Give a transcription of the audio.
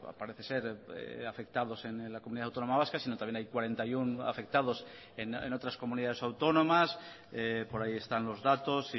parece ser afectados en la comunidad autónoma vasca sino también hay cuarenta y uno afectados en otras comunidades autónomas por ahí están los datos